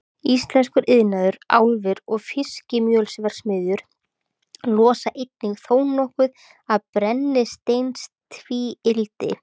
Íslenskur iðnaður, álver og fiskimjölsverksmiðjur losa einnig þónokkuð af brennisteinstvíildi.